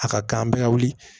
A ka kan an bɛɛ ka wuli